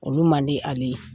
Olu man di ale ye.